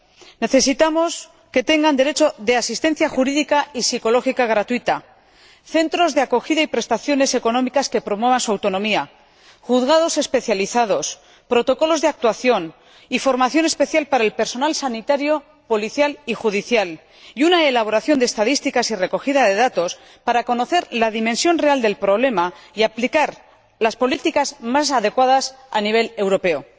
Es necesario que tengan derecho a asistencia jurídica y psicológica gratuita, centros de acogida y prestaciones económicas que promuevan su autonomía, juzgados especializados, protocolos de actuación y formación especial para el personal sanitario, policial y judicial, y que se elaboren estadísticas y recojan datos para conocer la dimensión real del problema y aplicar las políticas más adecuadas a nivel europeo.